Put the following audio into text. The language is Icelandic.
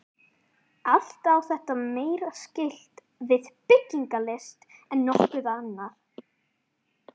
Allt á þetta meira skylt við byggingalist en nokkuð annað.